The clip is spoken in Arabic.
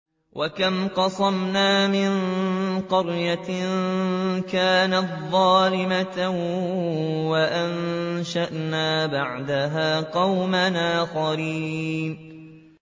وَكَمْ قَصَمْنَا مِن قَرْيَةٍ كَانَتْ ظَالِمَةً وَأَنشَأْنَا بَعْدَهَا قَوْمًا آخَرِينَ